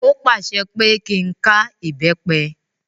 Ó pàṣẹ pé kí n ká ìbẹ́pẹ.